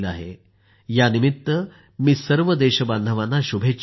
यानिमित्त मी सर्व देशबांधवांना शुभेच्छा देतो